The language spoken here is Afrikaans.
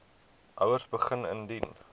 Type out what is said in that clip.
ouers begin indien